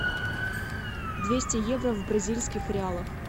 двести евро в бразильских реалах